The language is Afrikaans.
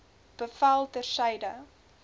bevel ter syde